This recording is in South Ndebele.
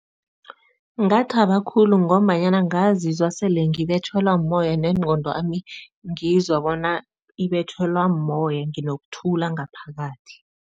Ngathaba khulu ngombanyana ngazizwa sele ngibetjhelwa mumoya nengqondwami ngizwa bona ibetjhelwa moya, nginokuthula ngaphakathi.